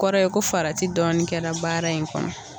A kɔrɔ ye ko farati dɔɔni kɛra baara in kɔnɔ.